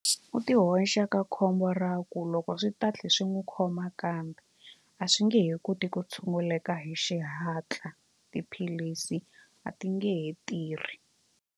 U ti hoxa ka khombo ra ku loko swi ta tlhe swi n'wi khoma kambe a swi nge he koti ku tshunguleka hi xihatla tiphilisi a ti nge he tirhi.